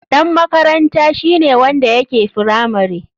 Ɗan makaranta shine wanda yake firamare.